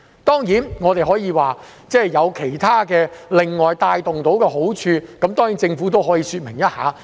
當然，我們可以說會帶動到其他的好處，政府可以另外說明一下。